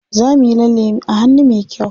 Za muyi lalle a hannu me kyau.